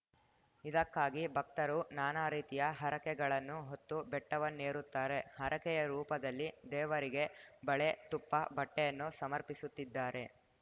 ಇದಕ್ಕಾಗಿ ಭಕ್ತರು ನಾನಾ ರೀತಿಯ ಹರಕೆಗಳನ್ನು ಹೊತ್ತು ಬೆಟ್ಟವನ್ನೇರುತ್ತಾರೆ ಹರಕೆಯ ರೂಪದಲ್ಲಿ ದೇವರಿಗೆ ಬಳೆ ತುಪ್ಪ ಬಟ್ಟೆಯನ್ನು ಸಮರ್ಪಿಸುತ್ತಿದ್ದಾರೆ